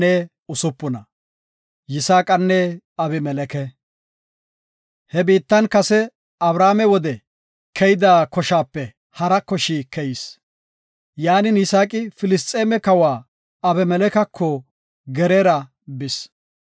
He biittan kase Abrahaame wode keyida koshaape hara koshi keyis. Yaanin, Yisaaqi Filisxeeme kawa Abimelekeko Geraara bis.